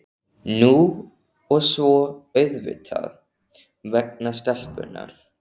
Nú og svo auðvitað vegna stelpunnar.